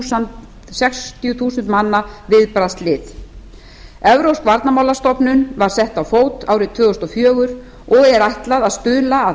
saman sextíu þúsund manna viðbragðslið evrópsk varnarmálastofnun var sett á fót árið tvö þúsund og fjögur og er ætlað að stuðla að